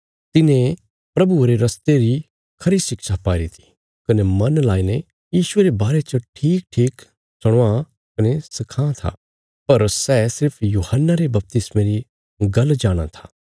तिने प्रभुये रे रस्ते री खरी शिक्षा पाईरी थी कने मन लगाईने यीशुये रे बारे च ठीकठीक सुणावां कने सखांवां था पर सै सिर्फ यूहन्ना रे बपतिस्मे री गल्ल जाणाँ था